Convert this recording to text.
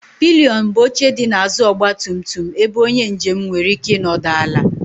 Pịlịọn bụ oche dị n'azụ ọgba tum tum ebe onye njem nwere ike ịnọdụ ala.